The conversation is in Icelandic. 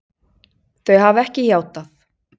Þau hafa ekki játað.